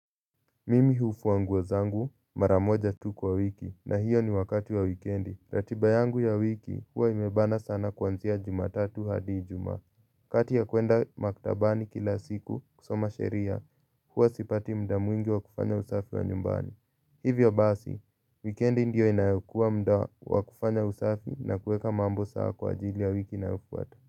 Mimi hufua nguo zangu mara moja tu kwa wiki na hiyo ni wakati wa wikendi. Ratiba yangu ya wiki huwa imebana sana kuanzia Jumatatu hadi Ijumaa. Kati ya kuenda maktabani kila siku kusoma sheria huwa sipati muda mwingi wa kufanya usafi wa nyumbani. Hivyo basi, wikendi ndio inayokuwa muda wa kufanya usafi na kuweka mambo sawa kwa ajili ya wiki inayofuata.